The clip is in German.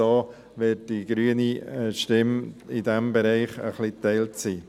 So wird die grüne Stimme in diesem Bereich geteilt sein.